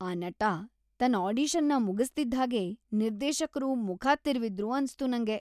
ಆ ನಟ ತನ್ ಆಡಿಷನ್‌ನ ಮುಗಿಸ್ತಿದ್ಹಾಗೇ ನಿರ್ದೇಶಕ್ರು ಮುಖ ತಿರುವಿದ್ರು ಅನ್ಸ್ತು ನಂಗೆ.